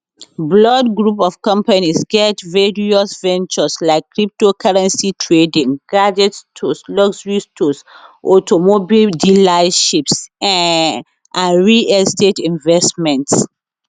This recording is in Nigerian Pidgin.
blord group of companies get various ventures like cryptocurrency trading gadget stores luxury stores automobile dealerships um and real estate investments